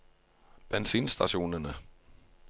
bensinstasjonene